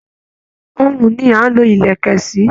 Ọrùn ni à ń lo ilẹ̀kẹ̀ sí